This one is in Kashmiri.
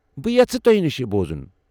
بہٕ یژھٕ تو٘ہہِ نِشہِ یہِ بوزُن۔